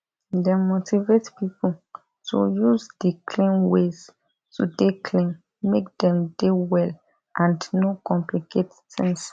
dem motivate pipo to use di clean ways to dey clean make dem dey well and no complicate tings